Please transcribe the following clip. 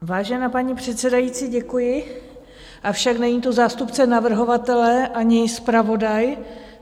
Vážená paní předsedající, děkuji, avšak není tu zástupce navrhovatele ani zpravodaj...